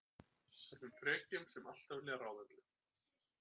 Þessum frekjum sem alltaf vilja ráða öllu.